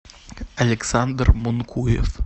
александр монкуев